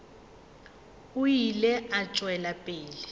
o ile a tšwela pele